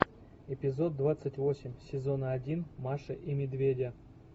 эпизод двадцать восемь сезона один маша и медведи